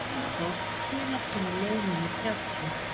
Brimþór, hvenær kemur leið númer þrjátíu?